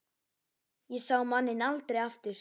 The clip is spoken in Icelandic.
Ég sá manninn aldrei aftur.